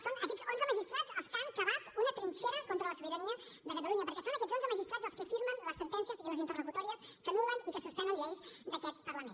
són aquests onze magistrats els que han cavat una trinxera contra la sobirania de catalunya perquè són aquests onze magistrats els que firmen les sentències i les interlocutòries que anul·len i que suspenen lleis d’aquest parlament